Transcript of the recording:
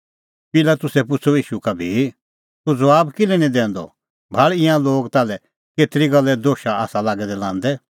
पिलातुसै पुछ़अ ईशू का भी तूह ज़बाब किल्है निं दैंदअ भाल़ ईंयां लोग ताल्है केतरी गल्ले दोशा आसा लांदै लागै दै